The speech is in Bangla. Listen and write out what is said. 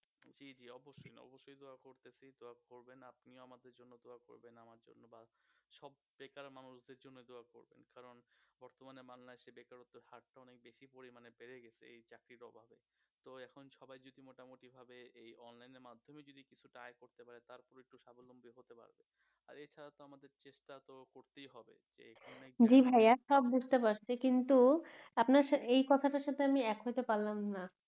জি ভাইয়া সব বুজতে পারছি কিন্তু আপনার এই কথাটার সাথে আমি এক হতে পারলাম না